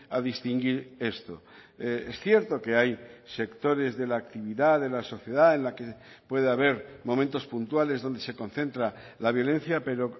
a distinguir esto es cierto que hay sectores de la actividad de la sociedad en la que puede haber momentos puntuales donde se concentra la violencia pero